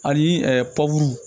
Ani